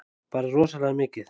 Bara rosalega mikið.